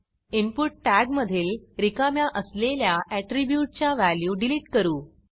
input tag मधील रिकाम्या असलेल्या ऍट्रीब्यूटच्या व्हॅल्यू डिलिट करू